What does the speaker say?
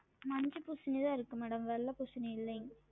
மஞ்ச பூசணி தான் இருக்கு madam வெள்ள பூசணி இல்லைங்க